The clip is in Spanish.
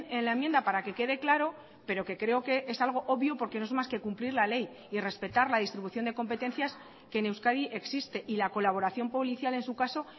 en la enmienda para que quede claro pero que creo que es algo obvio porque no es más que cumplir la ley y respetar la distribución de competencias que en euskadi existe y la colaboración policial en su caso